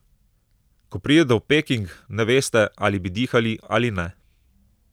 Ko pridete v Peking, ne veste, ali bi dihali ali ne.